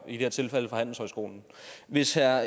i det her tilfælde fra handelshøjskolen hvis herre